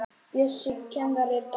Bjössi kennari er dáinn.